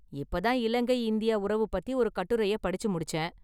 இப்ப தான் இலங்கை இந்தியா உறவு பத்தி ஒரு கட்டுரைய படிச்சு முடிச்சேன்.